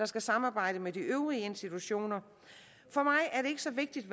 skal samarbejde med de øvrige institutioner for mig er det ikke så vigtigt